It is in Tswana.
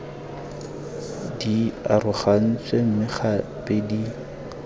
di arogantsweng mme gape di